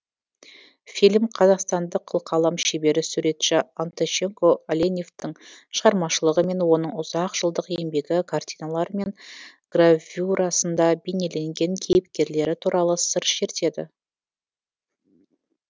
фильм қазақстандық қылқалам шебері суретші антощенко оленевтің шығармашылығы мен оның ұзақ жылдық еңбегі картиналары мен гравюрасында бейнеленген кейіпкерлері туралы сыр шертеді